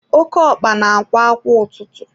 Oke ọkpa na-akwa kwa ụtụtụ.